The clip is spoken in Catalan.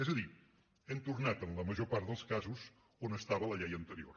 és a dir hem tornat en la major part dels casos on estava la llei anterior